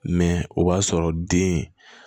Mɛ o b'a sɔrɔ den